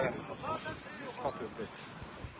Kəndimiz burda deyil.